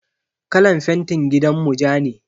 Kalan fentin gidanmu ja ne.